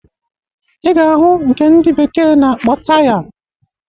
Ị ga-ahụ nke ndị bekee na-akpọ taya.